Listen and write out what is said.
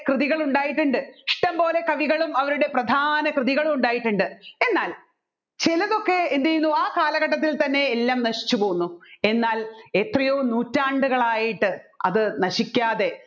കൃതികൾ ഉണ്ടായിട്ടുണ്ട് ഇഷ്ടംപോലെ കവികളും അവരുടെ പ്രധാന കൃതികളും ഉണ്ടായിട്ടുണ്ട് എന്നാൽ ചിലതൊക്കെ എന്ത് ചെയ്യുന്നു ആ കാലഘട്ടത്തിൽ തന്നെ എല്ലാം നശിച്ചുപോവുന്നു എന്നാൽ എത്രയോ നൂറ്റാണ്ടുകളായിട്ട് അത് നശിക്കാതെ